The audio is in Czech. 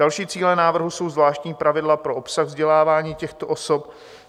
Další cíle návrhu jsou zvláštní pravidla pro obsah vzdělávání těchto osob.